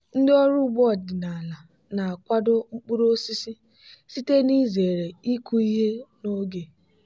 ndị ọrụ ugbo ọdịnala na-akwado mkpuru osisi site n'izere ịkụ ihe n'oge.